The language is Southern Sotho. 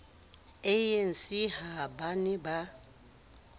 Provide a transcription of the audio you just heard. anc ha ba ne ba